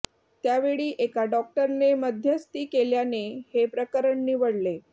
त्या वेळी एका डॉक्टरने मध्यस्थी केल्याने हे प्रकरण निवळले